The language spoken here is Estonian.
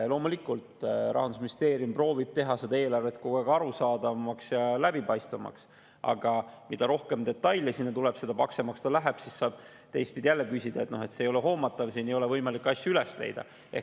Loomulikult, Rahandusministeerium proovib teha eelarvet kogu aeg arusaadavamaks ja läbipaistvamaks, aga mida rohkem detaile sinna tuleb, seda paksemaks see läheb ja siis saab jälle teistpidi küsida, et miks see ei ole hoomatav, siit ei ole võimalik asju üles leida.